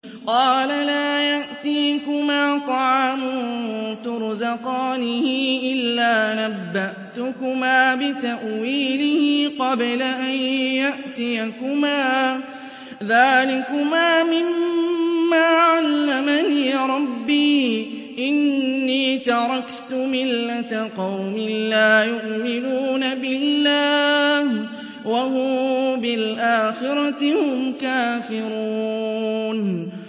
قَالَ لَا يَأْتِيكُمَا طَعَامٌ تُرْزَقَانِهِ إِلَّا نَبَّأْتُكُمَا بِتَأْوِيلِهِ قَبْلَ أَن يَأْتِيَكُمَا ۚ ذَٰلِكُمَا مِمَّا عَلَّمَنِي رَبِّي ۚ إِنِّي تَرَكْتُ مِلَّةَ قَوْمٍ لَّا يُؤْمِنُونَ بِاللَّهِ وَهُم بِالْآخِرَةِ هُمْ كَافِرُونَ